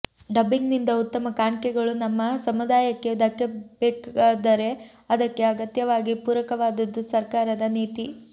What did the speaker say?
ಡಬ್ಬಿಂಗ್ನಿಂದ ಉತ್ತಮ ಕಾಣ್ಕೆಗಳು ನಮ್ಮ ಸಮುದಾಯಕ್ಕೆ ದಕ್ಕಬೇಕಾದರೆ ಅದಕ್ಕೆ ಅಗತ್ಯವಾಗಿ ಪೂರಕವಾದದ್ದು ಸರ್ಕಾರದ ನೀತಿ